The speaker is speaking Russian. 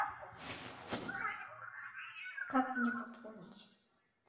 как мне пополнить